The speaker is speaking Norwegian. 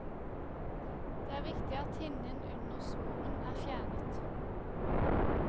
Det er viktig at hinnen under svoren er fjernet.